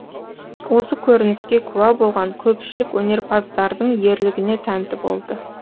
осы көрініске куә болған көпшілік өнерпаздардың ерлігіне тәнті болды